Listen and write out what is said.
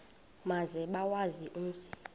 maze bawazi umzi